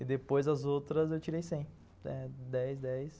E depois as outras eu tirei cem, dez, dez.